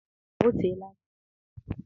O teela aka eliri ya.